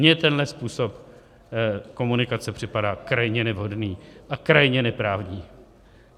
Mně tenhle způsob komunikace připadá krajně nevhodný a krajně neprávní.